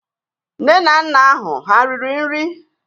Nne na nna ahụ ha riri nri?